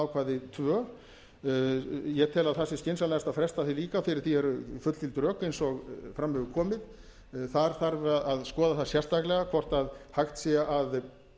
bráðabirgðaákvæði tvö ég tel að það sé skynsamlegast að fresta því líka fyrir því eru fullgild rök eins og fram hefur komið þar þarf að skoða það sérstaklega hvort hægt sé að